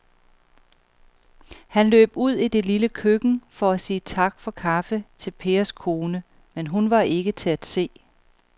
Han løb ud i det lille køkken for at sige tak for kaffe til Pers kone, men hun var ikke til at se.